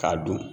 K'a dun